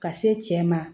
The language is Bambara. Ka se cɛ ma